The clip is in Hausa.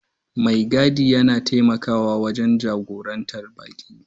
Mai gadi yana taimakawa wajen jagorantar baƙi.